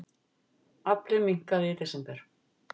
Afli minnkaði í desember